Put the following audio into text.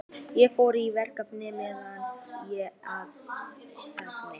Ég fór í frekari meðferð að Sogni.